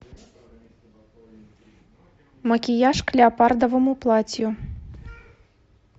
макияж к леопардовому платью